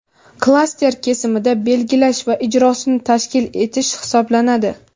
klaster kesimida belgilash va ijrosini tashkil etish hisoblanadi.